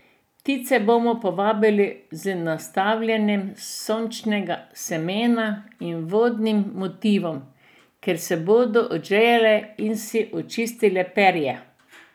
Ptice bomo privabili z nastavljanjem sončničnega semena in vodnim motivom, kjer se bodo odžejale in si očistile perje.